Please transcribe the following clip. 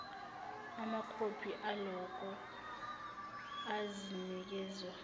amakhophi aloko azakinikezwa